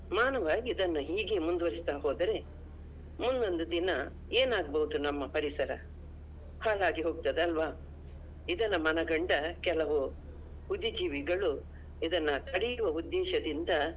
ಮಾನವ ಇದನ್ನು ಹೀಗೆ ಮುಂದುವರಿಸ್ತಾ ಹೋದರೆ ಮುಂದೊಂದು ದಿನ ಏನ್ ಆಗ್ಬೋದು ನಮ್ಮ ಪರಿಸರ ಹಾಳಾಗಿ ಹೋಗ್ತದಲ್ವಾ? ಇದನ್ನು ಮನಗಂಡ ಕೆಲವು ಬುದ್ದಿ ಜೀವಿಗಳು ಇದನ್ನಾ ತಡೆಯುವ ಉದ್ದೇಶದಿಂದ.